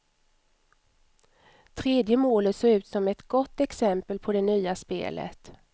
Tredje målet såg ut som ett gott exempel på det nya spelet.